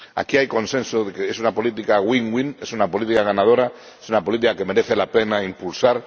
Aquí hay consenso de que es una política win win es una política ganadora, es una política que merece la pena impulsar.